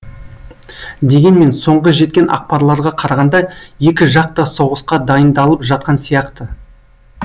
дегенмен соңғы жеткен ақпарларға қарағанда екі жақ та соғысқа дайындалып жатқан сияқты